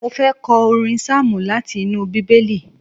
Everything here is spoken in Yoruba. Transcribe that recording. Mo fẹ́ kọ orin sáàmù láti inú Bíbélì